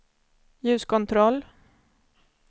ljuskontroll